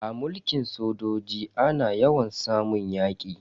A mulkin sojoji ana yawan samun yaki.